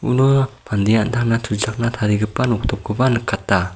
uno an·tangna tuchakna tarigipa noktopkoba nikata.